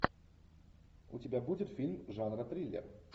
у тебя будет фильм жанра триллер